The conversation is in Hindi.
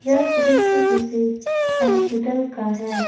यह दृश्य किसी हास्पिटल का है।